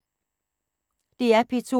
DR P2